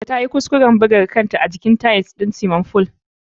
Ta yi kuskuren buga kanta a jikin tiles ɗin swiming fool ɗin.